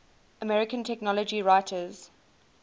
american technology writers